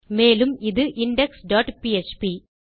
மேலும் அது indexபிஎச்பி